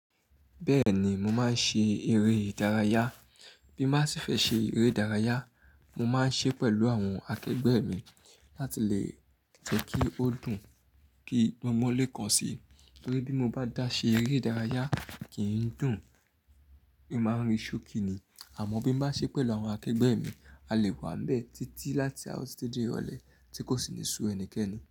Bẹ́ẹ̀ni mo máa ń ṣe eré ìdárayá, bí mo bá sì fẹ́ ṣe eré ìdárayá, mo máa ń ṣe pẹ̀lú àwọn akẹgbẹ́ mi láti lè jẹ́ kí ó dùn, kí gbọngbon lé kan sí. Nítorí bí mo bá dà ṣe eré ìdárayá kì í dùn, èmi máa ń rí ṣókí ni. Àmọ́ bí mo bá ṣe pẹ̀lú àwọn akẹgbẹ́ mi, a lè wà níbẹ̀ títí láti aaro titi di irọlẹ tí kò sì ní su ẹnikẹ́ni.